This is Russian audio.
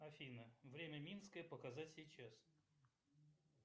афина время минское показать сейчас